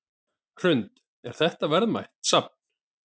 Hrund: Er þetta verðmætt safn?